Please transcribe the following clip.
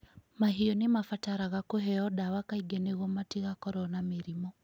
Mahiũ nĩ mabataraga kũheo ndawa kaingĩ nĩguo matigakorũo na mĩrimũ.